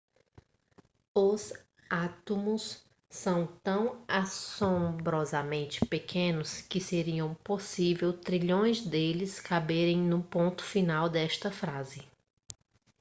os átomos são tão assombrosamente pequenos que seria possível trilhões deles caberem no ponto final desta frase